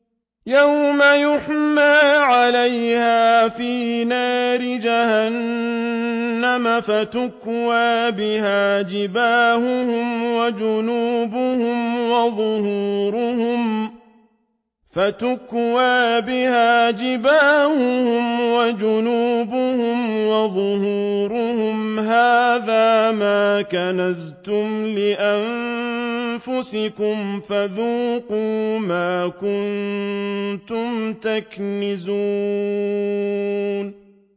يَوْمَ يُحْمَىٰ عَلَيْهَا فِي نَارِ جَهَنَّمَ فَتُكْوَىٰ بِهَا جِبَاهُهُمْ وَجُنُوبُهُمْ وَظُهُورُهُمْ ۖ هَٰذَا مَا كَنَزْتُمْ لِأَنفُسِكُمْ فَذُوقُوا مَا كُنتُمْ تَكْنِزُونَ